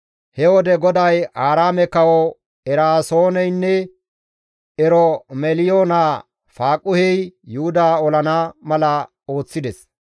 He wode GODAY Aaraame kawo Eraasooneynne Eromeliyo naa Faaquhey Yuhuda olana mala ooththides.